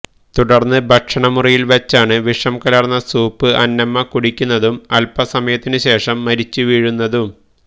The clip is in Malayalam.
തുടർന്ന് ഭക്ഷണ മുറിയിൽവച്ചാണ് വിഷം കലർന്ന സൂപ്പ് അന്നമ്മ കുടിക്കുന്നതും അൽപ്പസമയത്തിനു ശേഷം മരിച്ചുവീഴുന്നതും